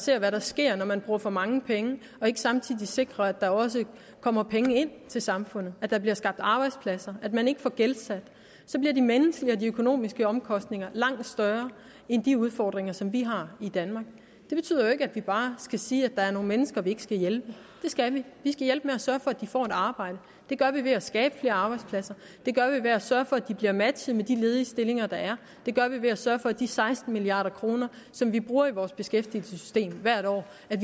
ser hvad der sker når man bruger for mange penge og ikke samtidig sikrer at der også kommer penge ind til samfundet at der bliver skabt arbejdspladser at man ikke får gældsat sig bliver de menneskelige og økonomiske omkostninger langt større end de udfordringer som vi har i danmark det betyder jo ikke at vi bare skal sige at der er nogle mennesker vi ikke skal hjælpe det skal vi vi skal hjælpe med at sørge for at de får et arbejde det gør vi ved at skabe flere arbejdspladser det gør vi ved at sørge for at de bliver matchet med de ledige stillinger der er det gør vi ved at sørge for at de seksten milliard kr som vi bruger i vores beskæftigelsessystem hvert år